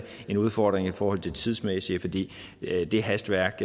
en udfordring i forhold til det tidsmæssige fordi det hastværk